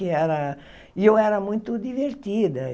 Que era e eu era muito divertida.